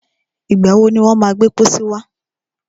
Ìgbà wọ ni wọ́n má gbẹ́ pọ́sí wá?